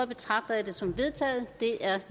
betragter jeg det som vedtaget det er